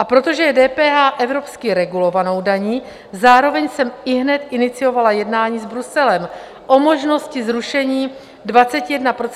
A protože je DPH evropsky regulovanou daní, zároveň jsem ihned iniciovala jednání s Bruselem o možnosti zrušení 21% DPH na celý příští rok.